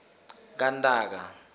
kantaka